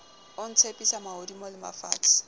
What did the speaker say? o ntshepisa mahodimo le mafatshe